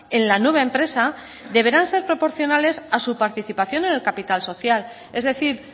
en la nueva empresa deberán ser proporcionales a su participación en el capital social es decir